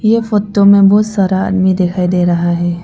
यह फोटो में बहुत सारा आदमी दिखाई दे रहा है।